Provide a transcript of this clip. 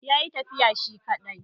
Ya yi tafiya shi kaɗai